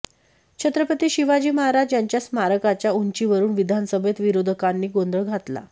छत्रपती शिवाजी महाराज यांच्या स्मारकाच्या उंचीवरुन विधानसभेत विरोधकांनी गोंधळ घातला